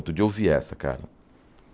Outro dia eu ouvi essa, cara.